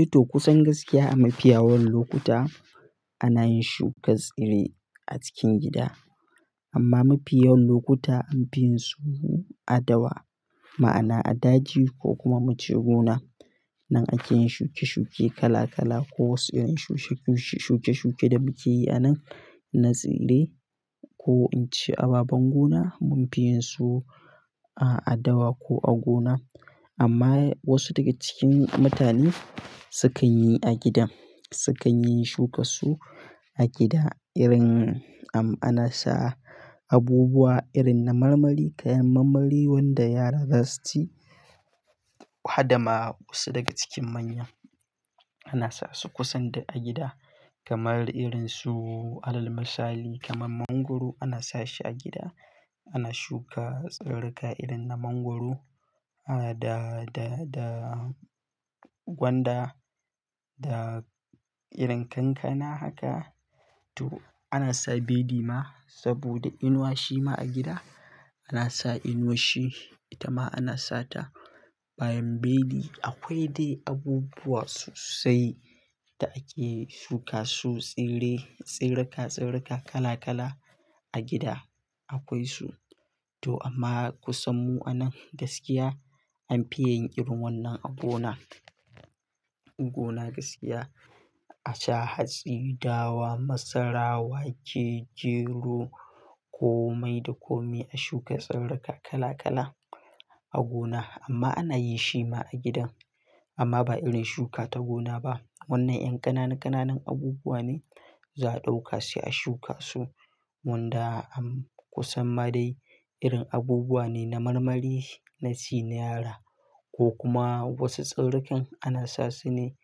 Eto kusan gaskiya a mafiya yawan lokuta ana yin shukar tsire a cikin gida. Amma mafi yawan lokuta anfi yin su a dawa, ma'ana a daji ko kuma muce gona. Nan ake yin shuke shuke kala kala ko wasu irin shuke shuke shuke da muke yi a nan na tsire ko in ce a baban gona munfi yin su a adawa ko a gona. Amma wasu daga cikin mutane sukan yi a gidan, sukan yin shuka su a gida irin am ana sa abubuwa irin na marmari, kayan marmari wanda yara za su ci. Hadama wasu daga cikin manya ana sa su kusan duk a gida kamar irin su alal misali kaman mangwaro ana sa shi a gida. Ana shuka tsirarrika irin na mangwaro, ah da, da, da gwanda da irin kankana haka. To ana sa bedi ma saboda inuwa shi ma a gida ana sa inuwashshi ita ma ana sata bayan bedi, Akwai dai abubuwa sosai da ake shuka su tsire, tsirrika, tsirrika kala kala a gida akwai su. To amma kusan mu'a nan gaskiya anfi yin irin wannan a gona. Gona gaskiya a sha hatsi, dawa, masarawa wake, geru, komai da kome a shuka tsirarka kala kala a gona. Amma ana yi shi ma a gidan amma ba irin shuka ta gona ba. Wannan ƴan ƙananu ƙananun abubuwa ne za a ɗauka sai a shuka su. Wnda am kusan ma dai irin abubuwa ne na marmari, na ci na yara ko kuma wasu tsirrikan ana sa su ne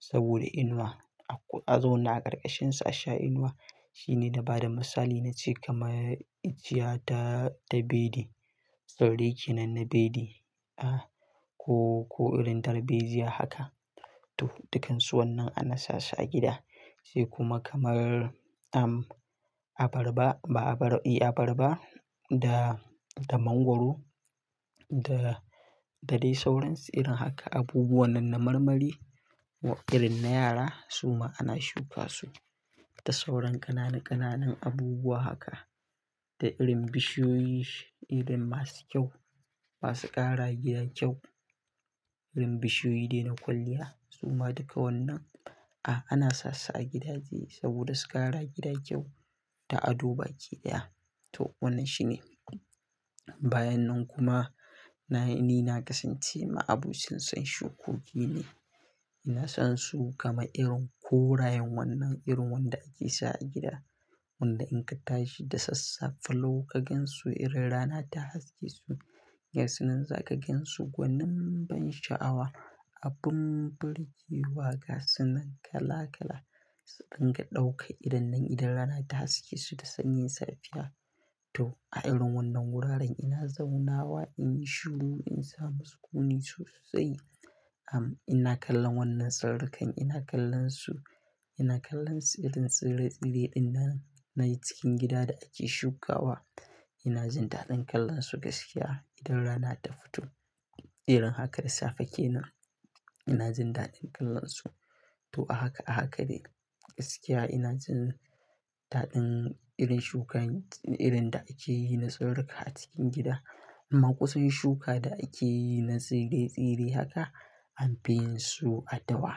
saboda inuwa. A ku a zauna a ƙarƙashin su a sha inuwa. Shi ne na bada misali na ce kamar ijiya ta ta bedi, Tsirrai kenan na bedi, ah ko, ko irin darbejiya haka. To dukansu wannan ana sasu a gida. Sai kuma kamar am abarba, ba abar i abarba da, da mangwaro da, da dai sauransu irin haka abubuwa nan na marmari irin na yara suma ana shuka su. Da sauran ƙananu ƙananun abubuwa haka da irin bishiyoyi, irin masu kyau, masu ƙarawa gida kyau. Irin bishiyoyi dai na kwalliya suma duka wannan a ana sasu a gidaje saboda su ƙarawa gida kyau da ado baki ɗaya. To wannan shi ne. Bayan nan kuma na ni na kasance ma abucin san shukoki ne. Ina son su kamar irin korayen wannan irin wanda ake sa a gida wanda in ka tashi da sassafe lau kagansu irin rana ta haske su, ga sunan za ka gan su gwanin ban sha'awa. Abun burge wa ga su nan kala kala su dun ga ɗaukan idon nan idan rana ta haske su da sanyin safiya. To a irin wannan wuraren ina zauna wa in yi shuru in samu sukuni sosai. Am ina kallon wannan tsirrikan, ina kallon su, ina kallon su irin tsire tsire ɗin nan na cikin gida da ake shukawa. Ina jin daɗin kallon su gaskiya idan rana ta fito. Irin haka da safe kenan ina jin daɗin kallon su. To a haka a haka de gaskiya ina jin daɗin irin shukan irin da ake yi na tsirrika a cikin gida. Amma kusan shuka da ake yi na tsire tsire haka anfi yin su a dawa.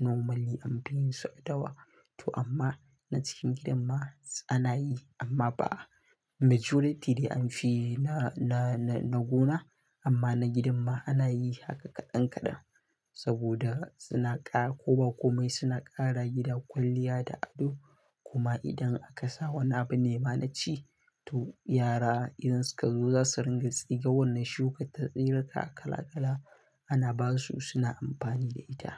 Normally anfi yin su a dawa. To amma na cikin gidan ma ana yi amma ba majority dai anfi yi na, na, na, na gona amma na gidan ma ana yi haka kaɗan kaɗan saboda suna ƙara koba komai suna ƙarawa gida kwalliya da ado, Kuma idan aka sa wani abu ne ma na ci. To yara idan suka zo za su ringa tsiga wannan shuka ta tsirrika kala kala ana ba su suna amfani da ita.